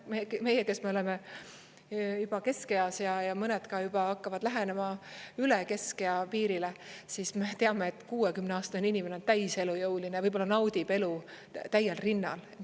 Meie, kes me oleme juba keskeas, ja mõned ka juba hakkavad lähenema üle keskea piirile, siis me teame, et 60-aastane inimene on täiselujõuline ja võib-olla naudib elu täiel rinnal.